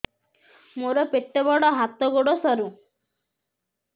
ମୋର ପେଟ ବଡ ହାତ ଗୋଡ ସରୁ